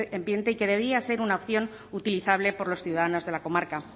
y que debía ser una opción utilizable por los ciudadanos de la comarca